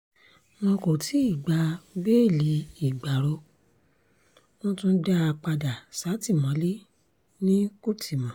wọn kò tí ì gba béèlì ìgbárò wọ́n tún dá a padà sátìmọ́lé ní kútímọ́